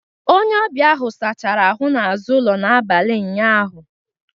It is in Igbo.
Onye ọbịa ahụ sachara ahụ n'azụ ụlọ n'abalị ụnyaahụ